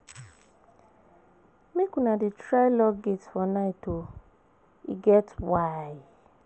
Make una dey try lock gate for night o, e get why.